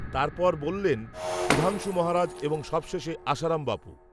তার পর বললেন, সুধাংশু মহারাজ, এবং সবশেষে, আসারাম বাপু